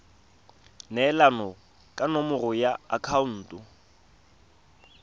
neelana ka nomoro ya akhaonto